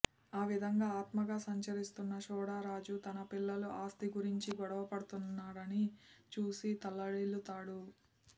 ఆ విధంగా ఆత్మగా సంచరిస్తున్న సోడా రాజు తన పిల్లలు ఆస్థి గురించి గొడవ పడుతుండడాన్ని చూసి తల్లడిల్లుతాడు